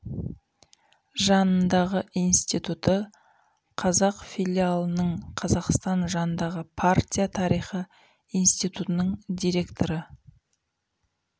жанындағы институты қазақ филиалының қазақстан жанындағы партия тарихы институтының директоры